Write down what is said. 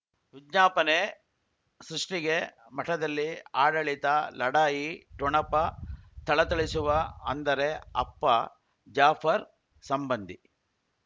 ವಿಜ್ಞಾಪನೆ ಸೃಷ್ಟಿಗೆ ಮಠದಲ್ಲಿ ಆಡಳಿತ ಲಢಾಯಿ ಠೊಣಪ ಥಳಥಳಿಸುವ ಅಂದರೆ ಅಪ್ಪ ಜಾಫರ್ ಸಂಬಂಧಿ